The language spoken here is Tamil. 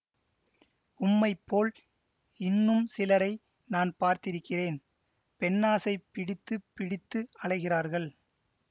உம்மைப் போல் இன்னும் சிலரை நான் பார்த்திருக்கிறேன் பெண்ணாசைப் பிடித்து பிடித்து அலைகிறவர்கள்